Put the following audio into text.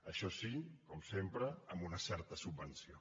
això sí com sempre amb una certa subvenció